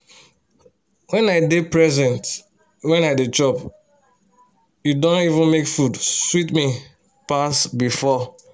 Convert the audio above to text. wen i dey present when i dey chop e don even make food sweet me pass before